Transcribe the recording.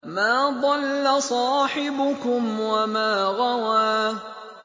مَا ضَلَّ صَاحِبُكُمْ وَمَا غَوَىٰ